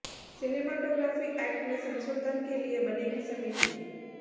cinematography act में संशोधन के लिए बनेगी समिति